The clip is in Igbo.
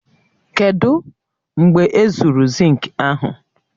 Kedụ u mgbe ezuru zinki ahụ?